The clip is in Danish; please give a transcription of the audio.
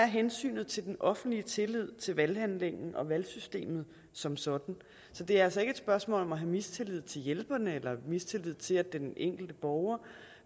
hensynet til den offentlige tillid til valghandlingen og valgsystemet som sådan så det er altså ikke et spørgsmål om at have mistillid til hjælperen eller mistillid til at den enkelte borger